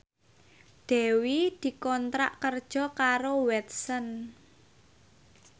Dewi dikontrak kerja karo Watson